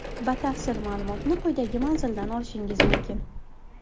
Batafsil ma’lumotni quyidagi manzildan olishingiz mumkin.